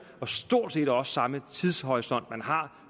og stort set også samme tidshorisont